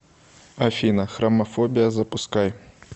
афина храмафобия запускай